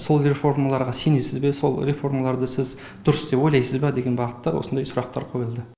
сол реформаларға сенесіз бе сол реформаларды сіз дұрыс деп ойласыз ба деген бағытта осындай сұрақтар қойылды